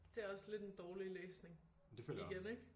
Det også lidt en dårlig læsning igen ikke?